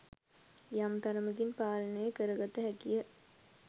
යම් තරමකින් පාලනය කර ගත හැකිය